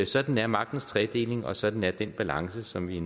sådan er magtens tredeling og sådan er den balance som vi